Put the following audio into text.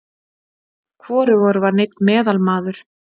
Hvorugur var neinn meðalmaður.